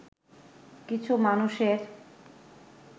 কিছু মানুষের